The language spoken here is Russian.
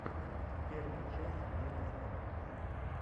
первая часть демастера